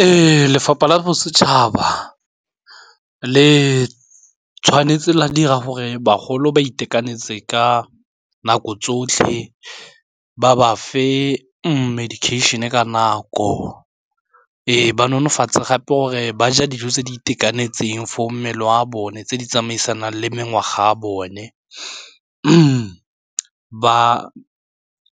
Ee, lefapha la bosetšhaba le tshwanetse la dira gore bagolo ba itekanetse ka nako tsotlhe, ba bafe medication-e ka nako ee ba nonofatse gape gore ba ja dijo tse di itekanetseng for mmele wa bone tse di tsamaisanang le mengwaga a bone ba